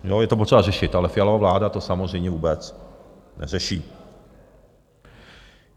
Je to potřeba řešit, ale Fialova vláda to samozřejmě vůbec neřeší.